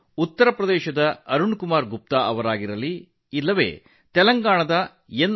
ಉತ್ತರ ಪ್ರದೇಶದ ಅರುಣ್ ಕುಮಾರ್ ಗುಪ್ತಾ ಅಥವಾ ತೆಲಂಗಾಣದ ಎನ್